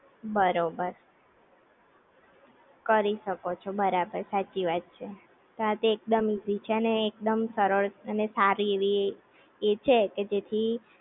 બરોબર કરી શકો છો બરાબર સાચી વાત છે આ તે એકદમ ઈઝી છે ને એકદમ સરળ અને સારી એવી એ છે કે જેથી